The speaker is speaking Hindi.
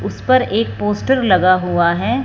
उस पर एक पोस्टर लगा हुआ है।